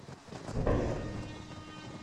заполярный